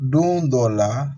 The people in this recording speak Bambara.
Don dɔw la